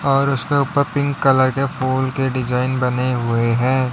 और उसके ऊपर पिंक कलर के फूल के डिजाइन बने हुए हैं।